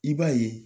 I b'a ye